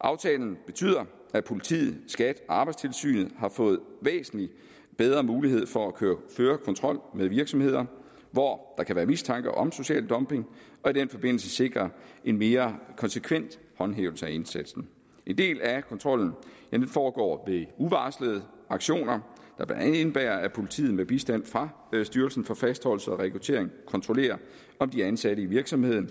aftalen betyder at politiet skat og arbejdstilsynet har fået væsentlig bedre mulighed for at føre kontrol med virksomheder hvor der kan være mistanke om social dumping og i den forbindelse sikre en mere konsekvent håndhævelse af indsatsen en del af kontrollen foregår ved uvarslede aktioner der blandt andet indebærer at politiet med bistand fra styrelsen for fastholdelse og rekruttering kontrollerer om de ansatte i virksomheden